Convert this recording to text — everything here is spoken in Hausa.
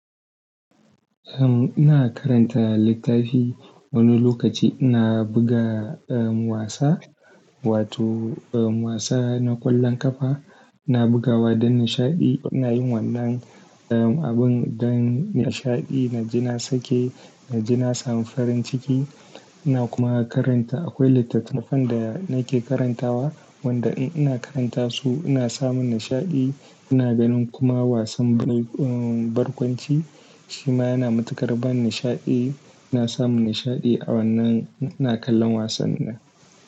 Ina karanta littafi wani lokaci ina buga, um, wasa, wato wasa na ƙwallon ƙafa. Ina buga wa don nishaɗi. Ina yin wannan, um, abun don nishaɗi. Naji na sake, naji na samu farin ciki, ina kuma karanta. Akwai littattafan da nake karantawa, wanda ina karanta su ina samun nishaɗi. Ina ganin kuma wasan barkwanci, shi ma yana matuƙar ban nishaɗi. Ina samun nishaɗi a wannan, in ina kallon wasannin nan.